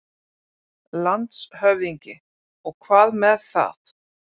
LANDSHÖFÐINGI: Og hvað með það?